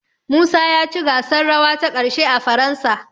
Musa ya ci gasar rawa ta ƙarshe a Faransa.